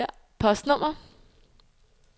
postnummer